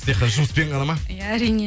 жұмыспен ғана ма иә әрине